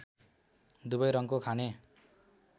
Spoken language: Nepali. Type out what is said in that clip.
दुबै रङ्गको खाने